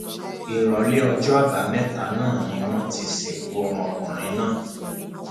ìrọlẹ ọjọ àbámẹta náà ni wọn ti sìnkú ọmọkùnrin náà